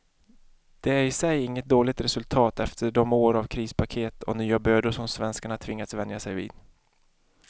Det är i sig inget dåligt resultat efter de år av krispaket och nya bördor som svenskarna tvingats vänja sig vid.